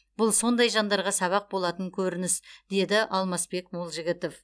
бұл сондай жандарға сабақ болатын көрініс деді алмасбек молжігітов